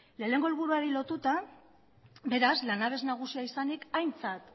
lehenengo helburuari lotuta beraz lanabes nagusia izanik aintzat